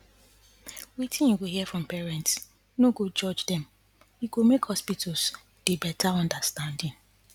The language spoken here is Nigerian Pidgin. wetin you go hear from patients no go judge dem e go make hospitals dey better understanding